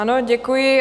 Ano, děkuji.